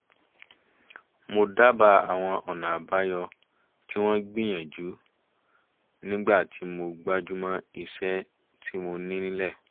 mo dábàá àwọn ọ̀nà àbáyọ tí wọ́n gbìyànjú nígbà tí mo gbájúmọ́ iṣẹ́ tí mo ní nílẹ̀